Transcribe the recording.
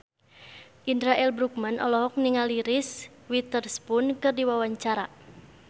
Indra L. Bruggman olohok ningali Reese Witherspoon keur diwawancara